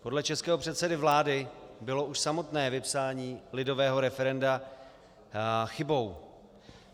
Podle českého předsedy vlády bylo už samotné vypsání lidového referenda chybou.